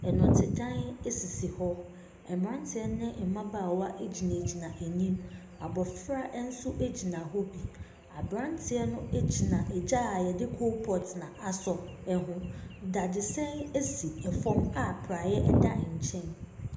Dɔtedan sisi hɔ. Mmeranteɛ ne mmabaawa gyinagyina anim. Abɔfra nso gyina hɔ bi. Aberanteɛ no gyina gya a wɔde coal pot asɔ ho. Dadesɛn sifa a praeɛ da nkyɛ.